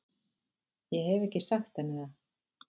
Ég hef ekki sagt henni það.